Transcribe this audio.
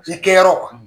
I kɛyɔrɔ